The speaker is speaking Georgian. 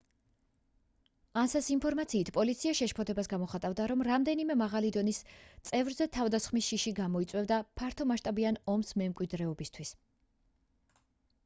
ansa-ს ინფორმაციით პოლიცია შეშფოთებას გამოხატავდა რომ რამდენიმე მაღალი დონის წევრზე თავდასხმის შიში გამოიწვევდა ფართომასშტაბიან ომს მემკვიდრეობისთვის